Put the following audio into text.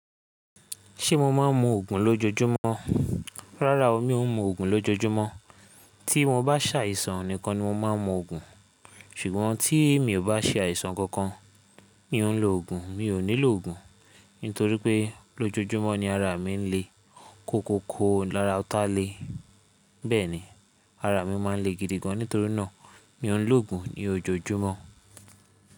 Ṣé mo máa ń mu ògùn lójojúmọ́? Rárá o, mi ò ń mu ògùn lójojúmọ́. Tí mo bá ṣàìsàn nìkan ni mo máa ń mu ògùn. Ṣùgbọ́n tí mi ò bá ṣe àìsàn kankan, mi ò ń lo ògùn. Mi ò nílò ògùn, nítorí pé lójojúmọ́ ni ara mi ń le koko ko lára ọ̀tá le. Bẹ́ẹ̀ni, ara mi máa ń le gidi gan. Nítorí náà, mi ò ń lo ògùn ní ojoojúmọ́.